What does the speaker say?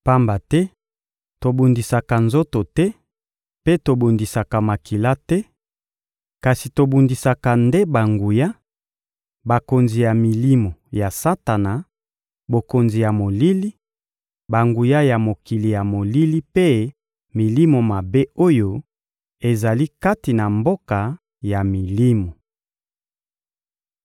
Pamba te tobundisaka nzoto te mpe tobundisaka makila te, kasi tobundisaka nde banguya, bakonzi ya milimo ya Satana, bokonzi ya molili, banguya ya mokili ya molili mpe milimo mabe oyo ezali kati na mboka ya milimo.